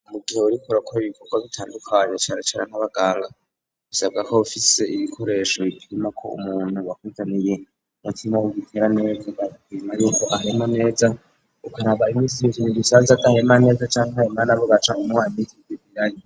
Mu gihe wurikora koo ibikorwa bitandukanyo caracara nk'abagara bisabwa ko bufise ibikoresho bipima ko umuntu bakudaniye mutimwa w'ugitera nezwa bagkime ari uko ahemo neza ukaraba imisi yizunguusanze atanye iman eza canke bmana rugaca mu muhamidivirali.